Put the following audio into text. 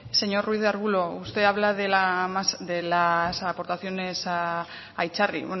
señor ruiz de arbulo usted habla de las aportaciones a itzarri